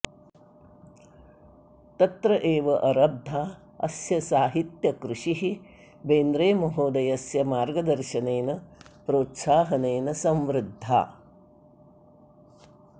तत्र एव अरब्धा अस्य साहित्यकृषिः बेन्द्रेमहोदयस्य मार्गदर्शनेन प्रोत्साहनेन संवृद्धा